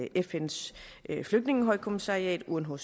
fns flygtningehøjkommissariat unhcr og